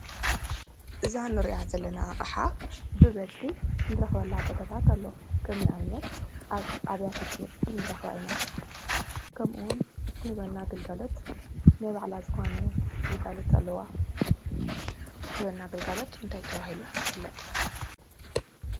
እዛ እንሪኣ ዘለና ኣቕሓ ብበዝሒ እንረኽበላ ቦታታት ኣለው። ከም ኣብነት ኣብ ኣብያተ ትምህርቲ ንረኽባ ኢና ከምኡ እውን እትህበና ግልጋሎት ናይ ባዕላ ዝኾነ ግልጋሎት ኣለዋ። ትህበና ግልጋሎት እንታይ ተባሂሉ ይፍለጥ?